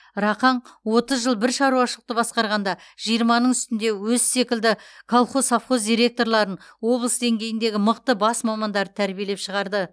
рақаң отыз жыл бір шаруашылықты басқарғанда жиырманың үстінде өзі секілді колхоз совхоз директорларын облыс деңгейіндегі мықты бас мамандарды тәрбиелеп шығарды